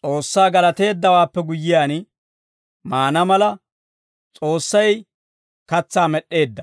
S'oossaa galateeddawaappe guyyiyaan maana mala, S'oossay katsaa med'd'eedda.